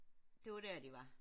Det var der de var